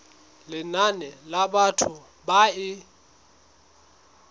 lenane la batho ba e